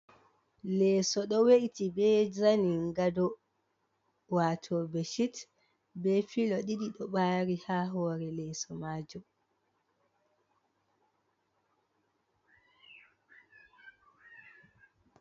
Leeso ɗo we’ti be zaningado, wato beshit be filo ɗiɗi ɗo ɓari ha hore leeso majum.